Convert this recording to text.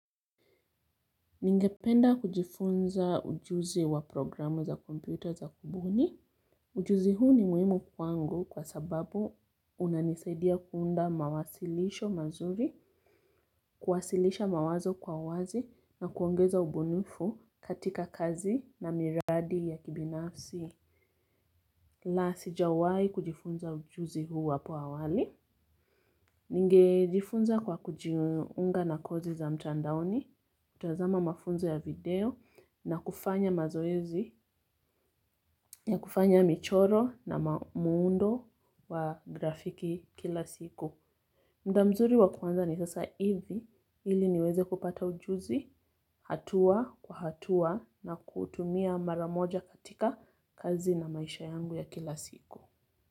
Ningependa kujifunza ujuzi wa programu za kompyuta za kubuni. Ujuzi huu ni muhimu kwangu kwa sababu unanisaidia kuunda mawasilisho mazuri, kuwasilisha mawazo kwa uwazi na kuongeza ubunifu katika kazi na miradi ya kibinafsi. La sijawahi kujifunza ujuzi huu hapo awali. Ningejifunza kwa kujiunga na kosi za mtandaoni kutazama mafunzo ya video na kufanya mazoezi ya kufanya michoro na muundo wa grafiki kila siku muda mzuri wa kuanza ni sasa hivi ili niweze kupata ujuzi hatua kwa hatua na kuutumia mara moja katika kazi na maisha yangu ya kila siku.